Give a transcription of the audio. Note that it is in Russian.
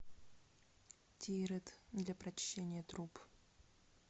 тирет для прочищения труб